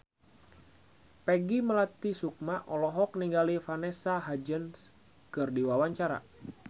Peggy Melati Sukma olohok ningali Vanessa Hudgens keur diwawancara